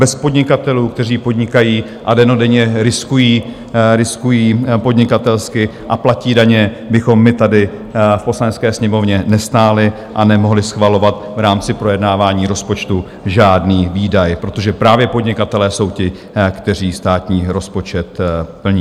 Bez podnikatelů, kteří podnikají a dennodenně riskují podnikatelsky a platí daně, bychom my tady v Poslanecké sněmovně nestáli a nemohli schvalovat v rámci projednávání rozpočtu žádný výdaj, protože právě podnikatelé jsou ti, kteří státní rozpočet plní.